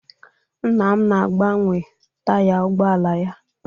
Nna m na-agbanwe taya ụgbọala ya.